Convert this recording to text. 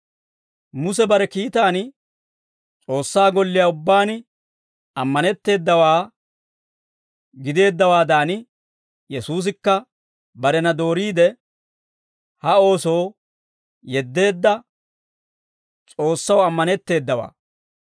Muse bare kiitaan S'oossaa golliyaa ubbaan ammanetteedawaa gideeddawaadan, Yesuusikka barena dooriide, ha oosoo yeddeedda S'oossaw ammanetteedawaa.